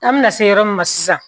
An mi na se yɔrɔ min ma sisan